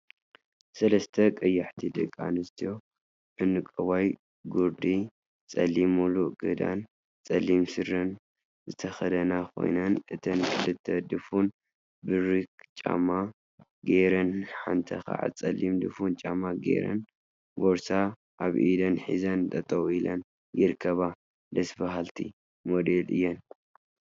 ሰለስተ ቀያሕቲ ደቂ አንስትዮ ዕንቋይ ጉርዲ፣ ፀሊም ሙሉእ ክዳንን ፀሊም ስረን ዝተከደና ኮይነን፤ እተን ክልተ ድፉን በሪክ ጫማ ገይሩን ሓንቲ ከዓ ፀሊም ድፉን ጫማ ገይረን ቦርሳ አብ ኢደን ሒዘን ጠጠው ኢለን ይርከባ፡፡ ደስ በሃልቲ! ሞዴላት እየን፡፡